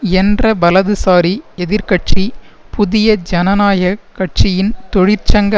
என்ற வலதுசாரி எதிர் கட்சி புதிய ஜனநாயக கட்சியின் தொழிற்சங்க